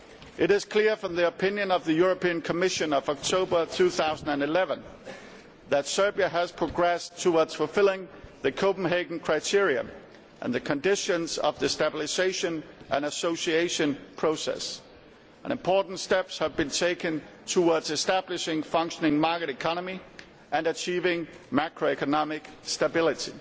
It is clear from the opinion of the European Commission of October 2011 that Serbia has progressed towards fulfilling the Copenhagen criteria and the conditions of the Stabilisation and Association Process, and important steps have been taken towards establishing a functioning market economy and achieving macro economic stability.